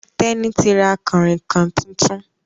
Teni tí ra Kànrìnkàn títún